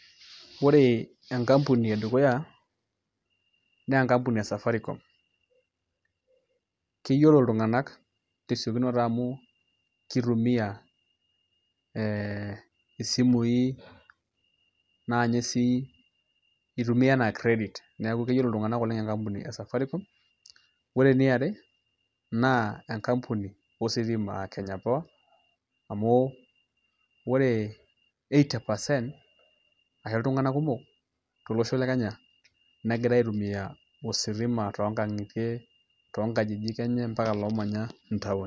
Ore enkampuni edukuya naa enkapuni e Safaricom, keyiolo iltung'anak tesiokinoto amu kitumiaa ee isimui naa inye sii itumia enaa credit neeku keyiolo iltung'anak enkampuni e Safaricom ore eniare enkampuni ositima aa Kenya Power amu ore eighty percent ashu iltung'anak kumok tolosho le Kenya negira aitumiaa ositima toonkang'itie toonkajijik enye mapaka loomanya town.